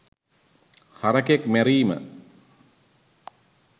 හරකෙක් මැරීම